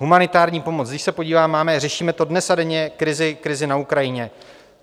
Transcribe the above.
Humanitární pomoc, když se podívám, máme, řešíme to dnes a denně, krizi na Ukrajině.